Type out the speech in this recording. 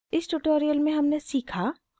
इस tutorial में हमने सीखा: